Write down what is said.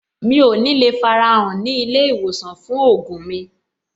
Mi ò ní le farahàn ní ilé-ìwòsàn fún ògùn mi.